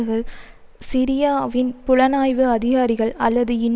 மிக பெரும்பாலான விமர்சகர்கள் சிரியாவின் புலனாய்வு அதிகாரிகள் அல்லது